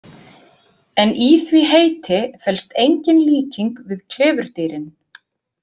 En í því heiti felst engin líking við klifurdýrin.